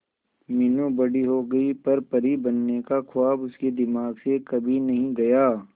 मीनू बड़ी हो गई पर परी बनने का ख्वाब उसके दिमाग से कभी नहीं गया